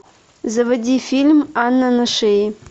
заводи фильм анна на шее